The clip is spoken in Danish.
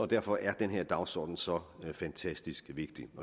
derfor er den her dagsorden så fantastisk vigtig